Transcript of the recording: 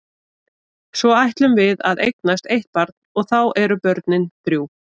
Svo ætlum við að eignast eitt barn og þá eru börnin þrjú.